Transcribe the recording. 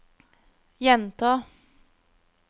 gjenta